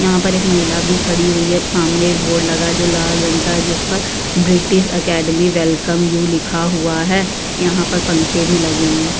यहाँ पर एक महिला बी खड़ी हुई है। सामने एक बोर्ड लगा है जो लाल रंग का जिस पर ब्रिटिश अकैडमी वेलकम यू लिखा हुआ है। यहाँ पर पंखे भी लगे हैं।